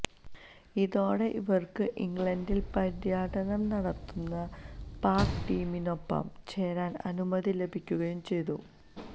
ഇതോടെ ഇവര്ക്ക് ഇംഗ്ലണ്ടില് പര്യടനം നടത്തുന്ന പാക് ടീമിനൊപ്പം ചേരാന് അനുമതി ലഭിക്കുകയും ചെയ്തു